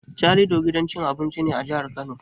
Calido gidan cin abinci ne a jihar Kano.